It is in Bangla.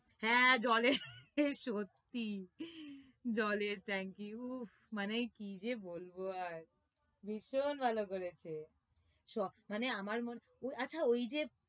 হ্যাঁ জলের সত্যি জলের ট্যাংকি উফ মানে কি যে বলব আর ভীষণ ভালো করেছে সব মানে আমার আচ্ছা ওইযে